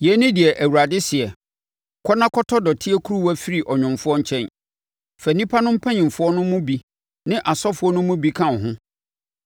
Yei ne deɛ Awurade seɛ: “Kɔ na kɔtɔ dɔteɛ kuruwa firi ɔnwomfoɔ nkyɛn. Fa nnipa no mpanimfoɔ no mu bi ne asɔfoɔ no mu bi ka wo ho